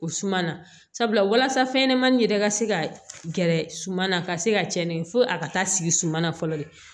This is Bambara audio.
O suman na sabula walasa fɛnɲɛnɛmanin yɛrɛ ka se ka gɛrɛ suman na ka se ka tiɲɛni kɛ fo a ka taa sigi suman na fɔlɔ